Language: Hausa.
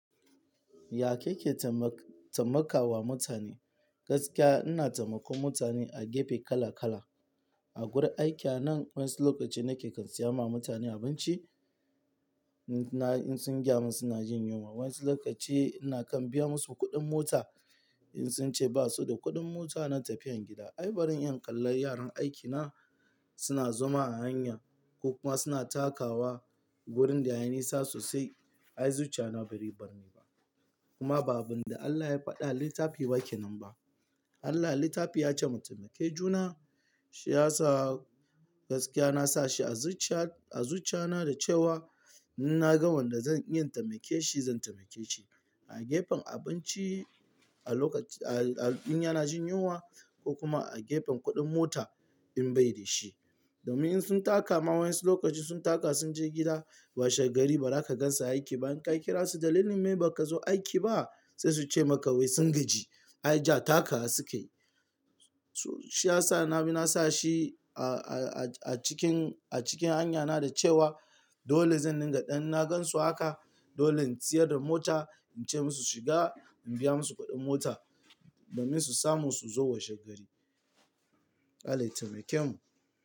Ya kake tamma-tammakawa mutane? Gaskiya ina taimakon mutane a gefe kala kala. A gurin aiki a nan wasu lokaci nake kan siya ma mutane abinci, na in sun gyamun suna jin yunwa. Wasu lokaci ina kan biya musu kuɗin mota in sun ce ba su da kuɗin mota na tafiyan gida. Ai baran iya in kalla yaran aikina suna zama a hanya ko kuma suna takawa wurin da yayi nisa sosai. Ai zuciya na bare bar ni ba. Kuma ba abin da Allah ya faɗa a littafi ba kenan ba. Allah a littafi ya ce mu taimake juna, shi ya sa gaskiya na sa shi a zuciya-a zuciya na da cewa in na ga wanda zan iya taimake shi zan taimake shi. A gefen abinci, a lokaci a-a in yana jin yunwa ko kuma a gefen kuɗin mota in bai da shi. Domin in sun taka ma wasu lokaci sun taka sun je gida washe gari ba za ka gansa aiki ba. In ka kira su dalilin me ba ka zo aiki ba? Sai su ce maka wai sun gaji. Ai jiya takawa sukayi. To shi ya sa na-na sa shi a cikin a cikin hanyana da cewa dole zan dinga in na gansu haka, dole in siyar da mota, in ce musu shiga, in biya musu kuɗin mota domin su samu su zo wajen gari. Allah ya taimake mu.